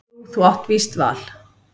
Jú þú átt víst val.